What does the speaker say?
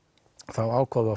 þá ákváðum